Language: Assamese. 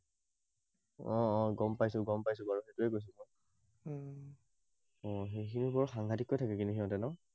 অ অ, গম পাইছো, গম পাইছো বাৰু। সেইটোয়াই কৈছো বাৰু, সেইখিনিত বৰ সাংঘাটিককৈ থাকে কিন্তু সিহঁতি ন?